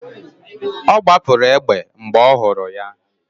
Ọ gbapụrụ egbe mgbe ọ hụrụ ha